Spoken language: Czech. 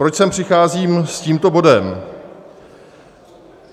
Proč sem přicházím s tímto bodem?